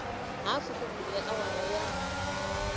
hafu ku bile awara ya